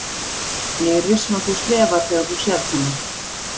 Ég er viss um að þú slefar þegar þú sérð hana.